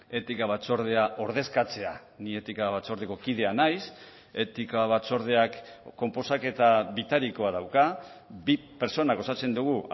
etika batzordea ordezkatzea ni etika batzordeko kidea naiz etika batzordeak konposaketa bitarikoa dauka bi pertsonak osatzen dugu